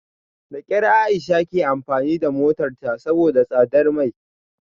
Da kyar Aisha ke amfani da motarta saboda tsadar mai